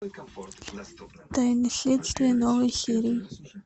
тайны следствия новые серии